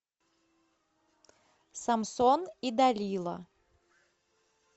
самсон и далила